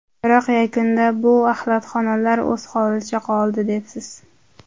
Biroq yakunda bu axlatxonalar o‘z holicha qoldi” debsiz.